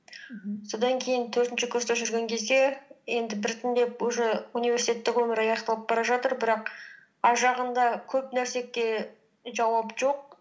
мхм содан кейін төртінші курста жүрген кезде енді біртіндеп уже университеттік өмір аяқталып бара жатыр бірақ ар жағында көп нәрсеге жауап жоқ